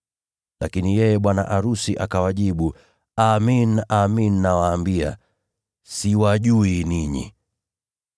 “Lakini yeye bwana arusi akawajibu, ‘Amin, amin nawaambia, siwajui ninyi!’